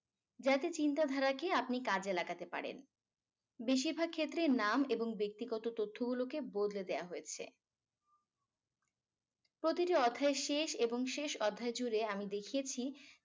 যাতে চিন্তাধারাকে আপনি কাজে লাগাতে পারেন বেশিরভাগ ক্ষেত্রে নাম এবং ব্যক্তিগত তথ্যগুলোকে বদলে দেয়া হয়েছে প্রতিটি অধ্যায়ের শেষ এবং শেষ অধ্যায় জুড়ে আমি দেখিয়েছি